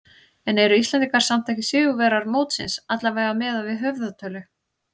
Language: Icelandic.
En eru Íslendingar samt ekki sigurvegarar mótsins, allavega miðað við höfðatölu?